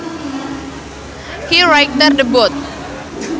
He righted the boat